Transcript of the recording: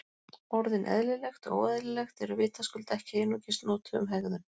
Orðin eðlilegt og óeðlilegt eru vitaskuld ekki einungis notuð um hegðun.